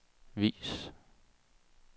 vis